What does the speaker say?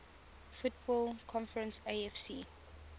football conference afc